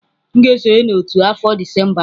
M ga-esonye n'otu afọ Disemba a.